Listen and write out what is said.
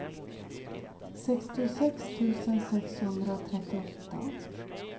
sextiosex tusen sexhundratrettioåtta